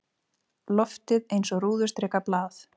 Loftið eins og rúðustrikað blað.